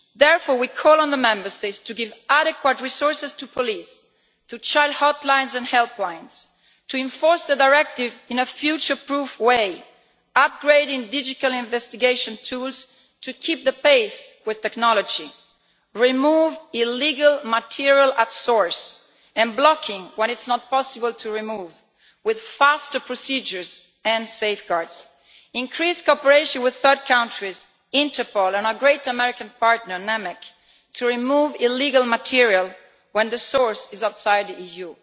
Therefore, we call on the Member States to give adequate resources to police, to child hotlines and helplines, to enforce the directive in a future-proof way, upgrading digital investigation tools to keep pace with technology, to remove illegal material at source and block it when it is not possible to remove, with faster procedures and safeguards, and to increase cooperation with third countries, Interpol and our great American partner NMEC to remove illegal material when the source is outside the EU.